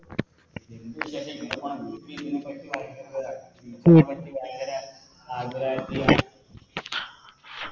എന്തെയ്യനാ ഇങ്ങനെ ഭയങ്കര